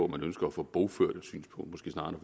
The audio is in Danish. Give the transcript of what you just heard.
man ønsker at få bogført et synspunkt snarere